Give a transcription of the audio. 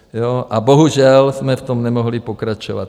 A bohužel jsme v tom nemohli pokračovat.